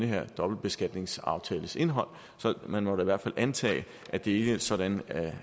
her dobbeltbeskatningsaftales indhold så det må da i hvert fald antages at det ikke er sådan at